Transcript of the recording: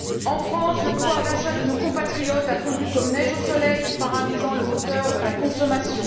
En France, le pouvoir d'achat de nos compatriotes a fondu comme neige au soleil, paralysant le moteur de la consommation.